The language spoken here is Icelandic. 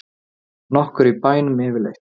Nokkur í bænum yfirleitt?